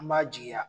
An b'a jigiya